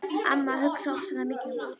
Amma hugsar ofsalega mikið um útlitið.